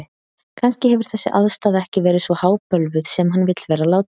Kannski hefur þessi aðstaða ekki verið svo hábölvuð sem hann vill vera láta.